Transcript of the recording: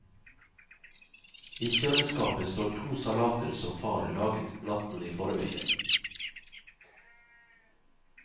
I kjøleskapet står to salater som far laget natten i forveien.